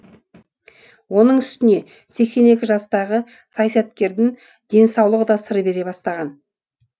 оның үстіне сексен екі жастағы саясаткердің денсаулығы да сыр бере бастаған